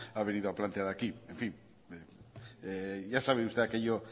ha venido a plantear aquí en fin ya sabe usted aquello